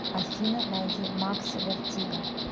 афина найди макс вертиго